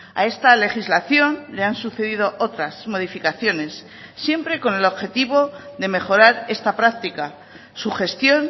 a esta legislación le han sucedido otras modificaciones siempre con el objetivo de mejorar esta práctica su gestión